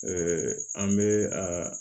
an bɛ a